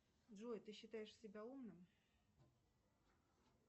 джой ты считаешь себя умным